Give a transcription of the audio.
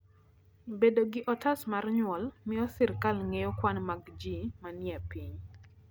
bedo gi otas mar nyuol miyo sirkal ngeyo kwan mag ji ma nie piny